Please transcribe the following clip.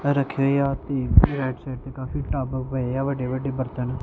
ਰੱਖੀ ਹੋਈ ਆ ਤੇ ਰਾਈਟ ਸਾਈਡ ਤੇ ਕਾਫੀ ਟੱਪ ਪਏ ਆ ਵੱਡੇ ਵੱਡੇ ਬਰਤਨ--